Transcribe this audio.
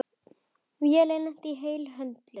Vélin lenti heilu og höldnu.